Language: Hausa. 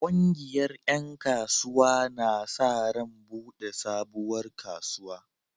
Ƙungiyar ƴan kasuwa na sa ran buɗe sabuwar kasuwa.